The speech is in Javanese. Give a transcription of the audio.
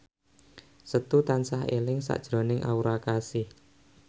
Setu tansah eling sakjroning Aura Kasih